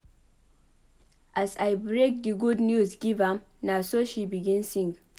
As I break di good news give am na so she begin sing.